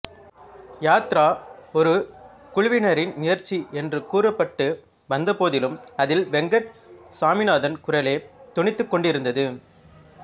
யாத்ரா ஒரு குழுவினரின் முயற்சி என்று கூறப்பட்டு வந்த போதிலும் அதில் வெங்கட் சாமிநாதன் குரலே தொனித்துக் கொண்டிருந்தது